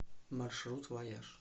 маршрут вояж